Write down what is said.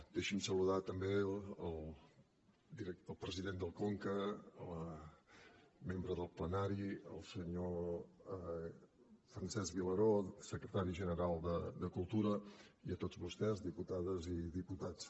deixi’m saludar també el president del conca la membre del plenari el senyor francesc vilaró secretari general de cultura i a tots vostès diputades i diputats